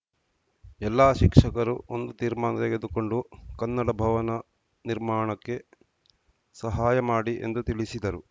ಎಲ್ಲಾ ಶಿಕ್ಷಕರು ಒಂದು ತೀರ್ಮಾನ ತೆಗೆದುಕೊಂಡು ಕನ್ನಡ ಭವನ ನಿರ್ಮಾಣಕ್ಕೆ ಸಹಾಯ ಮಾಡಿ ಎಂದು ತಿಳಿಸಿದರು